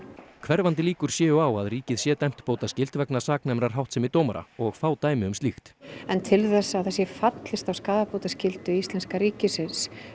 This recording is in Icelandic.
hverfandi líkur séu á að ríkið sé dæmt bótaskyld vegna saknæmrar háttsemi dómara og fá dæmi um slíkt en til þess að það sé fallist á skaðabótaskyldu íslenska ríkisins